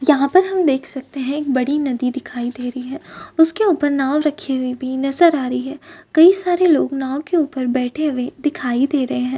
यहा पर हम देख सकते है एक बड़ी नदी दिखाई दे रही है उसके उपर नाव रखी हुई भी नजर आ रही है कई सारे लोग नाव के उपर बैठे हुए दिखाई दे रहे है।